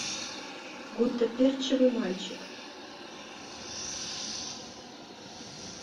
гуттаперчевый мальчик